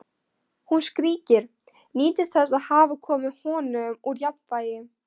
Hún skríkir, nýtur þess að hafa komið honum úr jafnvægi.